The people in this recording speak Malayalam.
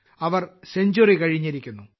അവർ സെഞ്ച്വറി കഴിഞ്ഞിരിക്കുന്നു